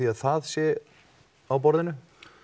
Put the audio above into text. að það sé á borðinu